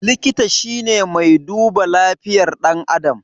Likita shine mai duba lafiyar ɗan adam